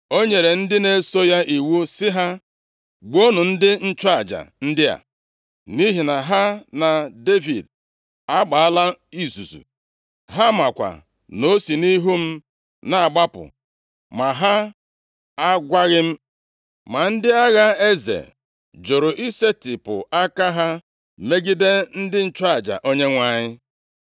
O nyere ndị na-eso ya iwu sị ha, “Gbuonụ ndị nchụaja ndị a, nʼihi na ha na Devid agbaala izuzu; ha makwa na o si nʼihu m na-agbapụ, ma ha agwaghị m!” Ma ndị agha eze jụrụ isetipụ aka ha megide ndị nchụaja Onyenwe anyị.